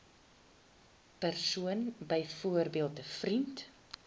persoon byvoorbeeld vriend